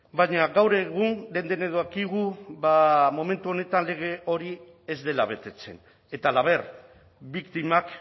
baina gaur egun denok dakigu ba momentu honetan lege hori ez dela betetzen eta halaber biktimak